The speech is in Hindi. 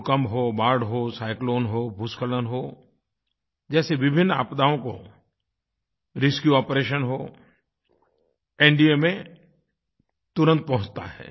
भूकंप हो बाढ़ हो साइक्लोन हो भूस्खलन हो जैसे विभिन्न आपदाओं को रेस्क्यू आपरेशन हो एनडीएमए तुरंत पहुँचता है